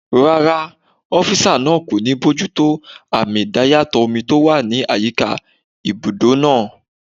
Rárá, ọ́físà náà kò ní bojútó àmì idayàtọ̀ omi tó wà ní àyíká ibùdó náà